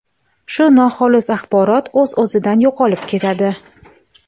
shu noxolis axborot o‘z-o‘zidan yo‘qolib ketadi.